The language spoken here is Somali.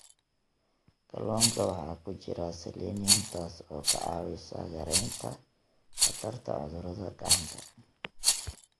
Kalluunka waxaa ku jira selenium, taas oo ka caawisa yaraynta khatarta cudurada gacanta.